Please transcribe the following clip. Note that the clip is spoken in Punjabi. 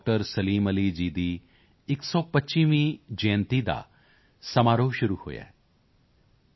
ਸਲੀਮ ਅਲੀ ਜੀ ਦਾ 125ਵਾਂ ਜਯੰਤੀ ਸਮਾਰੋਹ ਸ਼ੁਰੂ ਹੋਇਆ ਹੈ ਡਾ